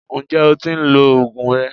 Ǹjẹ́ o tí ń lo oògùn rẹ?